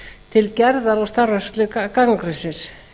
til gerðar og starfrækslu gagnagrunnsins